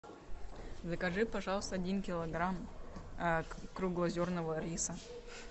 закажи пожалуйста один килограмм круглозерного риса